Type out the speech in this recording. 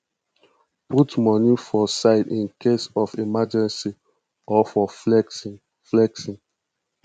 put money for side incase of emergency or for flexing flexing